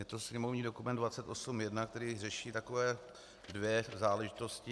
Je to sněmovní dokument 2801, který řeší takové dvě záležitosti.